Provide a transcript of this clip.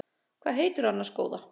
Hvað heitirðu annars góða?